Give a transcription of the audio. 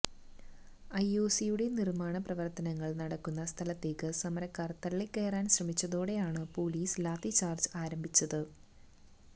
ഐഒസിയുടെ നിര്മ്മാണ പ്രവര്ത്തനങ്ങള് നടക്കുന്ന സ്ഥലത്തേക്ക് സമരക്കാര് തളളിക്കയറാന് ശ്രമിച്ചതോടെയാണ് പൊലീസ് ലാത്തിച്ചാര്ജ് ആരംഭിച്ചത്